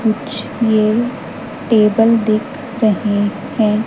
कुछ ये टेबल दिख रहे हैं।